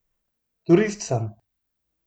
Turist sem.